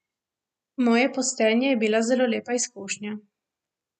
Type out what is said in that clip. Moje postenje je bila zelo lepa izkušnja.